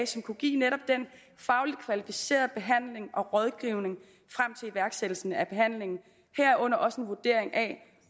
som kunne give netop den fagligt kvalificerede behandling og rådgivning frem til iværksættelsen af behandlingen herunder også en vurdering af